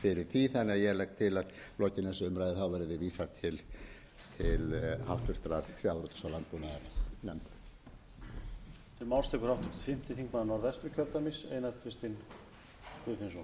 því þannig að ég legg til að lokinni þessari umræðu verði því vísað til háttvirtrar sjávarútvegs og landbúnaðarnefndar